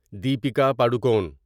Deepika Padukone